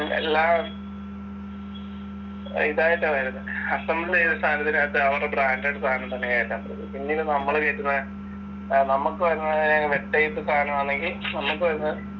എല്ലാം ഇതായിട്ടാ വരുന്നേ അസംബിൾ ചെയ്ത സാധനത്തിനകത്ത് അവരുടെ ബ്രാൻഡഡ് സാധനം തന്നെകയറ്റാൻ പറ്റത്തോളൂ. പിന്നീട് നമ്മള് കയറ്റുന്ന, നമ്മക്കുവരുന്ന ടൈപ്പ് സാധനമാണെങ്കിൽ, നമ്മക്കുവരുന്ന